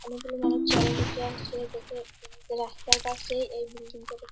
অনেক গুলো মানুষ চেয়ার এ বসে আছে দেখে রাস্তার এ পশে এই বিল্ডিং টা দে--